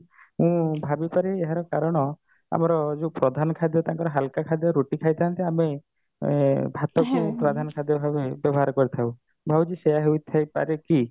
ମୁଁ ଭାବିପାରେ ଏହାର କାରଣ ଆମର ଯୋଉ ପ୍ରଧାନ ଖାଦ୍ୟ ତାଙ୍କର ହାଲକା ଖାଦ୍ୟ ରୁଟି ଖାଇଥାନ୍ତି ଆମେ ଏଁ ଭାତ କୁ ପ୍ରଧାନ ଖାଦ୍ୟ ଭାବେ ବ୍ୟବହାର କରିଥାଉ ମୁଁ ଭାବୁଛି ସେଇଆ ହେଇଥାଇ ପାରେ କି